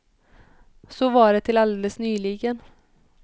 Så var det till alldeles nyligen.